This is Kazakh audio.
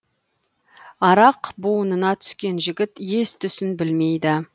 арақ буынына түскен жігіт ес түсін білмейді